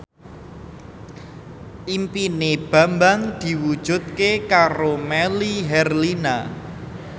impine Bambang diwujudke karo Melly Herlina